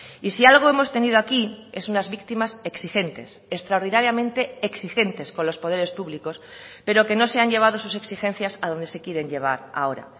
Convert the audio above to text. y si algo hemos tenido aquí es unas víctimas exigentes extraordinariamente exigentes con los poderes públicos pero que no se han llevado sus exigencias a donde se quieren llevar ahora